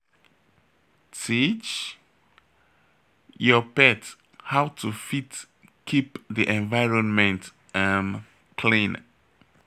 Teach your pet how to fit keep di environment um clean